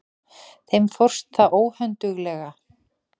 Þeim fórst það óhönduglega.